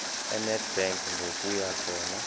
enedbank ngokuya khona